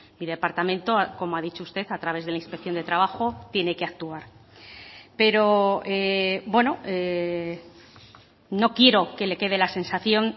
mi departamento como ha dicho usted a través de la inspección de trabajo tiene que actuar pero no quiero que le quede la sensación